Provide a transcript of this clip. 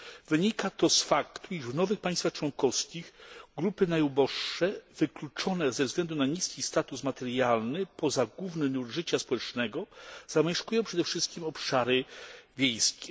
Wynika to z faktu, iż w nowych państwach członkowskich grupy najuboższe wykluczone ze względu na niski status materialny poza główny nurt życia społecznego zamieszkują przede wszystkim obszary wiejskie.